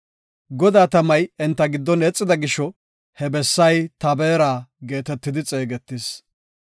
Godaa tamay enta giddon eexida gisho, he bessay Tabeera geetetidi xeegetis.